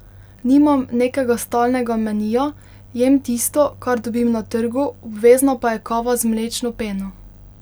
Nimam nekega stalnega menija, jem tisto, kar dobim na trgu, obvezna pa je kava z mlečno peno.